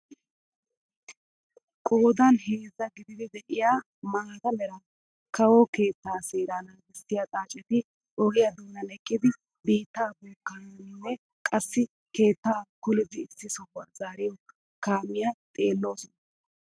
Qoodan heezzaa gididi de'iyaa maata mera kawo keettaa seeraa nagissiyaa xaacetti ogiyaa doonan eqqidi biittaa bookkyaanne qassi keettaa kollidi issi sohuwaa zaariyaa kaamiyaa xeelloosona.